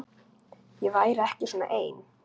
Ég væri ekki svona ein.